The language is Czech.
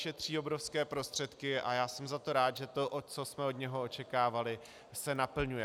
Šetří obrovské prostředky a já jsem za to rád, že to, co jsme od něho očekávali, se naplňuje.